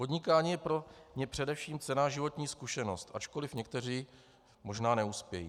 Podnikání je pro ně především cenná životní zkušenost, ačkoliv někteří možná neuspějí.